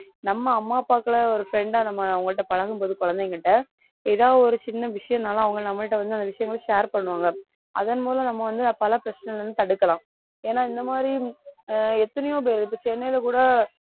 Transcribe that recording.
நம்ம அம்மா அப்பாக்களை ஒரு friend ஆ நம்ம அவங்கட்ட பழகும் போது குழந்தைங்ககிட்ட ஏதாவது ஒரு சின்ன விஷயம்னாலும் அவங்க நம்மள்ட்ட வந்து அந்த விஷயங்களை share பண்ணுவாங்க அதன் மூலம் நம்ம வந்து பல பிரச்சனையில இருந்து தடுக்கலாம் ஏன்னா இந்த மாதிரி ஆஹ் எத்தனையோ பேர் இப்ப சென்னையில கூட